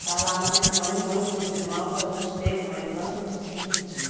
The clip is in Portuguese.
Está lá na minha mãe, muitos irmãos, a gente teve uma infância de dividir.